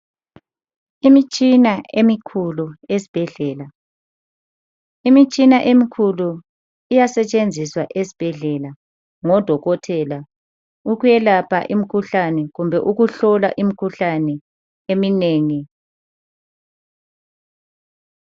Imitshina emikhulu ezibhedlela, imitshina emikhulu iyasetshenziswa ezibhedlela ngodokotela ukwelapha imikhuhlane kumbe ukuhlola imikhuhlane eminengi